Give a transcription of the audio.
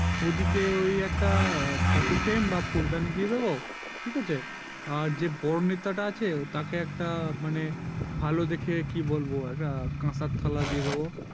ওদিকে ওই একটা photo frame বা ফুলদানি দিয়ে দেব ঠিক আছে আর যে বড়ো নেতা আছে তাকে একটা মানে ভালো দেখে কি বলবো একটা কাঁসার থালা দিয়ে দেব